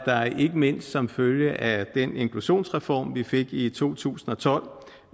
ikke mindst som følge af den inklusionsreform vi fik i to tusind og tolv